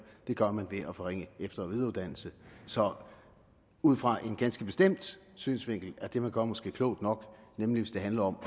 det gør man ved at forringe efter og videreuddannelse så ud fra en ganske bestemt synsvinkel er det man gør måske klogt nok nemlig hvis det handler om